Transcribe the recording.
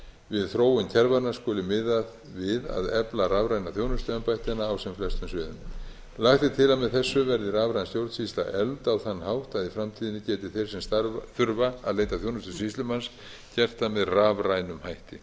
við þróun kerfanna skuli miðað við að efla rafræna þjónustu embættanna á sem flestum sviðum lagt er til að með þessu verði rafræn stjórnsýsla efld á þann hátt að í framtíðinni geta þeir sem þurfa að leita þjónustu sýslumanns gert það með rafrænum hætti